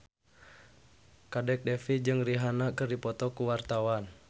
Kadek Devi jeung Rihanna keur dipoto ku wartawan